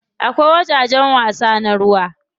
Akwai wajajen wasa na ruwa.